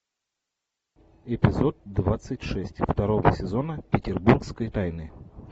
эпизод двадцать шесть второго сезона петербургской тайны